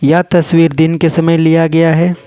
यह तस्वीर दिन के समय लिया गया हैं।